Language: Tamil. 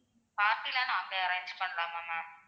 party எல்லாம் நாங்க arrange பண்ணலாமா ma'am